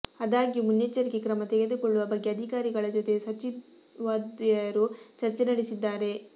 ಆದಾಗ್ಯೂ ಮುನ್ನೆಚ್ಚರಿಕೆ ಕ್ರಮ ತೆಗೆದುಕೊಳ್ಳುವ ಬಗ್ಗೆ ಅಧಿಕಾರಿಗಳ ಜೊತೆ ಸಚಿವದ್ವಯರು ಚರ್ಚೆ ನಡೆಸಿದ್ದಾರೆ